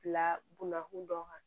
Bila bonna kun dɔ kan